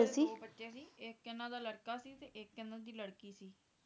ਇਹਨਾਂ ਦੇ ਦੋ ਬੱਚੇ ਸੀ ਇੱਕ ਇਹਨਾਂ ਲੜਕਾ ਸੀ ਤੇ ਇੱਕ ਇਹਨਾਂ ਦੀ ਲੜਕੀ ਸੀ